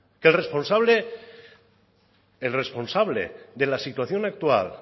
que el responsable de la situación actual